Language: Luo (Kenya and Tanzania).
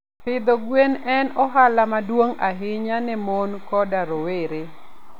Pidho gwen en ohala maduong' ahinya ne mon koda rowere.